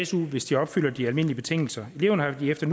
su hvis de opfylder de almindelige betingelser eleverne har efter